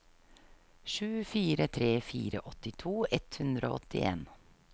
sju fire tre fire åttito ett hundre og åttien